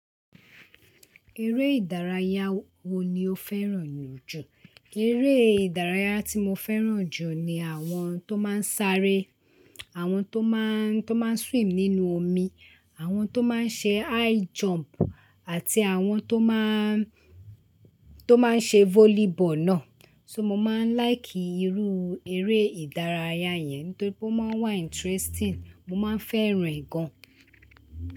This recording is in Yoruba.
Eré ìdárayá wo ni o fẹ́ràn jù? Eré ìdárayá tí mo fẹ́ràn jù ni àwọn tó máa ń sáré, àwọn tó máa ń, tó máa ń swim nínú omi, àwọn tó máa ń ṣe high jump àti àwọn tó máa ń, tó máa ń ṣe volleyball náà. So, mo máa ń like irú eré ìdárayá yẹn torí ó máa ń wà interesting, mo máa ń fẹ́ràn rẹ̀ gan.